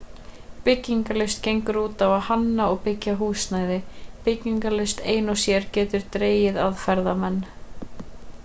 byggingarlist gengur út á að hanna og byggja húsnæði byggingarlist ein og sér getur dregið að ferðamenn